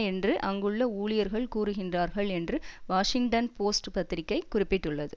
என்று அங்குள்ள ஊழியர்கள் கூறுகின்றார்கள் என்று வாஷிங்டன் போஸ்ட் பத்திரிகை குறிப்பிட்டுள்ளது